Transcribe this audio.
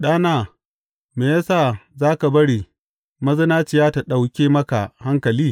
Ɗana, me ya sa za ka bari mazinaciya ta ɗauke maka hankali?